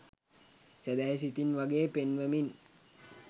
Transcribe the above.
සැදැහි සිතින් වගේ පෙන්වමින්